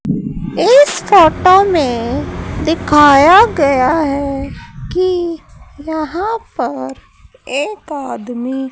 इस फोटो में दिखाया गया है कि यहां पर एक आदमी--